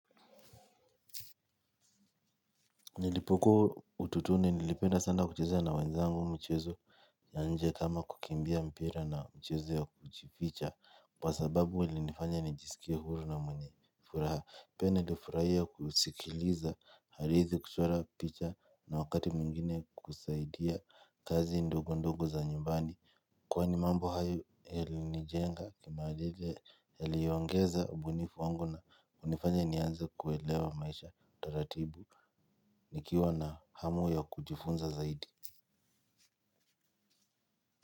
Nilipokuwa utotoni nilipenda sana kucheza na wenzangu mchezo ya nje kama kukimbia mpira na mchezo ya kujificha kwa sababu ilinifanya nijisikie huru na mwenye furaha. Pia nilifurahia kusikiliza hadithi, kuchora picha na wakati mwingine kusaidia kazi ndogo ndogo za nyumbani. Kwani mambo hayo yalinijenga kimaadili yaliongeza ubunifu wangu na kunifanya nianze kuelewa maisha taratibu nikiwa na hamu ya kujifunza zaidi.